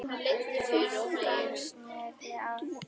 Bringan sneri að hafi.